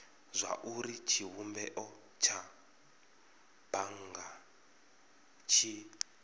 zwauri tshivhumbeo tsha bannga tshi